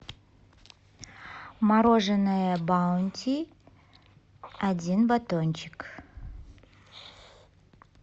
мороженое баунти один батончик